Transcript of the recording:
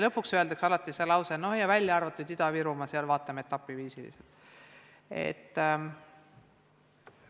Lõpuks öeldakse alati, et välja arvatud Ida-Virumaa, seal vaatame etapiviisiliselt.